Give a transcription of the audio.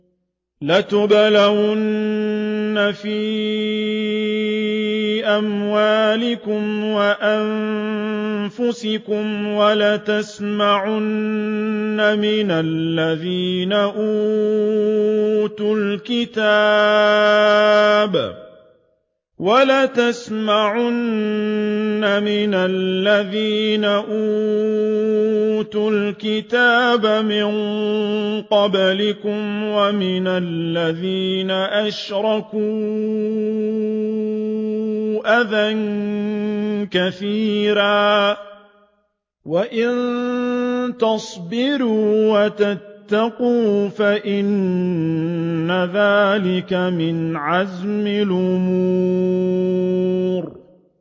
۞ لَتُبْلَوُنَّ فِي أَمْوَالِكُمْ وَأَنفُسِكُمْ وَلَتَسْمَعُنَّ مِنَ الَّذِينَ أُوتُوا الْكِتَابَ مِن قَبْلِكُمْ وَمِنَ الَّذِينَ أَشْرَكُوا أَذًى كَثِيرًا ۚ وَإِن تَصْبِرُوا وَتَتَّقُوا فَإِنَّ ذَٰلِكَ مِنْ عَزْمِ الْأُمُورِ